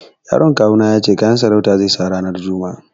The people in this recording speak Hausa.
Yaron kawu na ya ce kayan sarauta zai sa ranar juma'a.